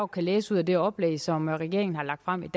kan læse ud af det oplæg som regeringen har lagt frem i